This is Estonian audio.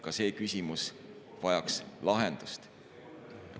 Ka see küsimus vajaks lahendust.